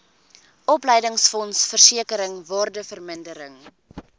opleidingsfonds versekering waardevermindering